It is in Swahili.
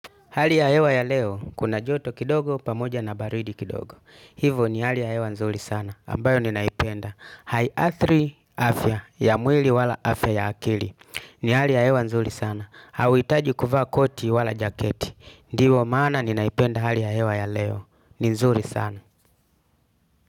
Hali ya hewa ya leo, kuna joto kidogo pamoja na baridi kidogo. Hivo ni hali ya hewa nzuri sana, ambayo ninaipenda. Hai athri afya, ya mwili wala afya ya akili. Ni hali ya hewa nzuri sana, hauitaji kuvaa koti wala jaketi. Ndiyo maana ninaipenda hali ya hewa ya leo, nzuri sana.